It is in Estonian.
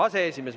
Aseesimees.